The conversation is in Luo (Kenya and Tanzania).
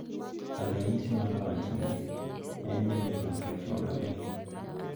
Ranyisi mar wachni en ni min ot ochuno ni,